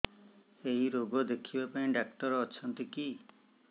ଏଇ ରୋଗ ଦେଖିବା ପାଇଁ ଡ଼ାକ୍ତର ଅଛନ୍ତି କି